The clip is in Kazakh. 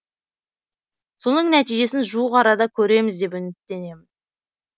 соның нәтижесін жуық арада көреміз деп үміттенемін